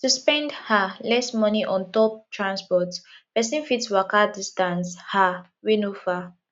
to spend um less money on top transport person fit waka distance um wey no far